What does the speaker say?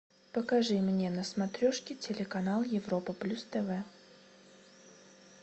покажи мне на смотрешке телеканал европа плюс тв